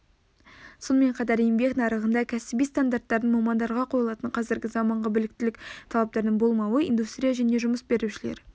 сонымен қатар еңбек нарығында кәсіби стандарттардың мамандарға қойылатын қазіргі заманғы біліктілік талаптарының болмауы индустрия және жұмыс берушілер